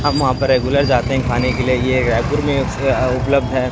हम वहां पे रेगुलर जाते हैं खाने के लिए ये रायपुर में अह उपलब्ध है।